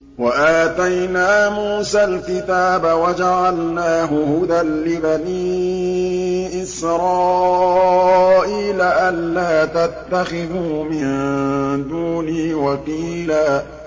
وَآتَيْنَا مُوسَى الْكِتَابَ وَجَعَلْنَاهُ هُدًى لِّبَنِي إِسْرَائِيلَ أَلَّا تَتَّخِذُوا مِن دُونِي وَكِيلًا